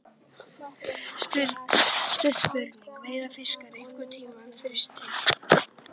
Stutt spurning, verða fiskar einhverntímann þyrstir!??